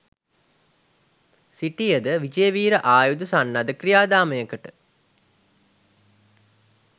සිටිය ද විජේවීර ආයුධ සන්නද්ධ ක්‍රියාදාමයකට